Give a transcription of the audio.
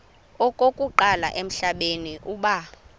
okokuqala emhlabeni uba